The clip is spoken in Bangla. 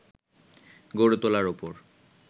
গড়ে তোলার ওপর